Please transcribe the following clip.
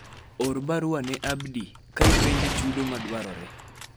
or barua ne Abdi ka ipenje chudo ma dwarore